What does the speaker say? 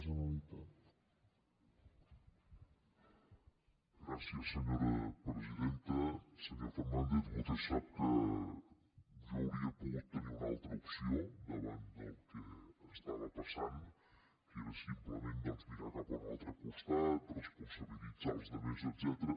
senyor fernàndez vostè sap que jo hauria pogut tenir una altra opció davant del que estava passant que era simplement doncs mirar cap a un altre costat responsabilitzar els altres etcètera